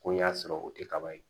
Ko y'a sɔrɔ o tɛ kaba ye